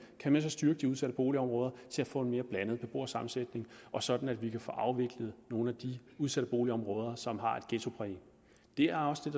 at styrke de udsatte boligområder til at få en mere blandet beboersammensætning og sådan at vi kan få afviklet nogle af de udsatte boligområder som har et ghettopræg det er også det